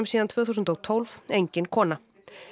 síðan tvö þúsund og tólf engin kona